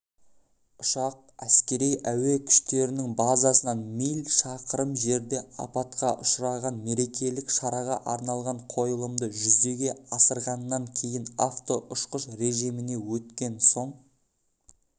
ұшақ әскери әуе күштерінің базасынан миль шақырым жерде апатқа ұшыраған мерекелік шараға арналған қойылымды жүзеге асырғаннан кейін автоұшқыш режиміне өткен соң